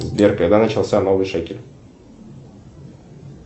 сбер когда начался новый шекель